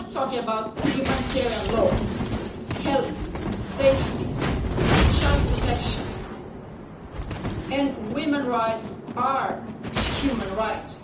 We are talking about humanitarian law health, safety, child protection and women's rights are human rights.